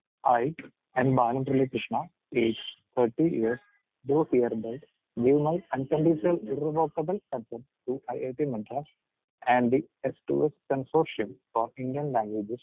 speaker 2 hi I am Balamurali Krishna, age thirty years do hereby give my unconditional irrevocable concern to I I T Madras, and the S to S consortium for Indian languages